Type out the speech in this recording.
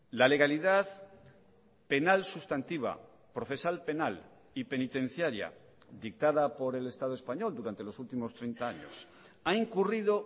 la legalidad penal sustantiva procesal penal y penitenciaria dictada por el estado español durante los últimos treinta años ha incurrido